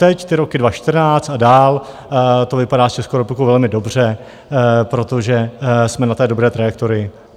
Teď ty roky 2014 a dál to vypadá s Českou republikou velmi dobře, protože jsme na té dobré trajektorii.